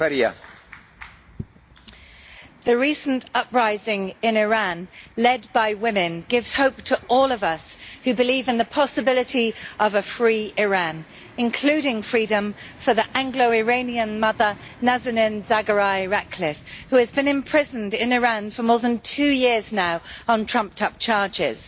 Mr President, the recent uprising in Iran led by women gives hope to all of us who believe in the possibility of a free Iran, including freedom for the Anglo Iranian mother Nazanin Zaghari Ratcliffe, who has been imprisoned in Iran for more than two years now on trumped up charges.